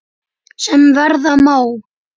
sem verða má.